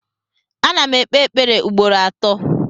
Ana m ekpe ekpere ugboro atọ